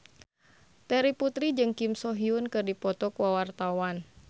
Terry Putri jeung Kim So Hyun keur dipoto ku wartawan